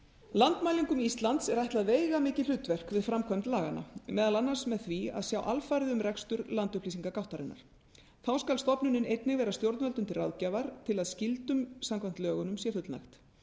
landmælingum íslands er ætlað veigamikið hlutverk við framkvæmd laganna meðal annars með því að sjá alfarið um rekstur landupplýsingagáttarinnar þá skal stofnunin einnig vera stjórnvöldum til ráðgjafar til að skyldum samkvæmt lögunum sé fullnægt